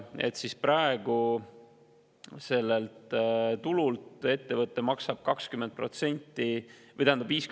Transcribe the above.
Praegu maksab ettevõte sellelt tulult 50% tulumaksu.